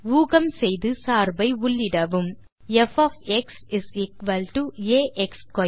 ஊகம் செய்து சார்பை உள்ளிடவும் f ஆ x2